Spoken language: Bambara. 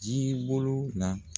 Jiribolo la